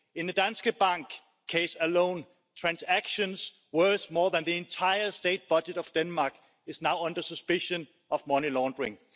In the Danske Bank case alone, transactions worth more than the entire state budget of Denmark are now under suspicion of money laundering.